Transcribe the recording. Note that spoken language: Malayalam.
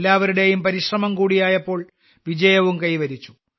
എല്ലാവരുടെയും പരിശ്രമം കൂടിയായപ്പോൾ വിജയവും കൈവരിച്ചു